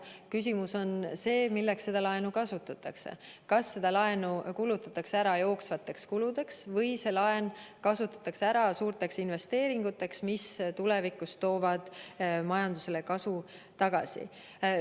Küsimus on selles, milleks seda laenu kasutatakse: kas see laen kulutatakse ära jooksvateks kuludeks või see laen kasutatakse ära suurteks investeeringuteks, mis tulevikus toovad majandusele kasu tagasi?